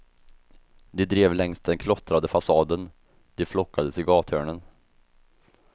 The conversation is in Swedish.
De drev längs den klottrade fasaden, de flockades i gathörnen.